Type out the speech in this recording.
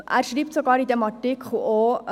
– Er schreibt in diesem Artikel sogar: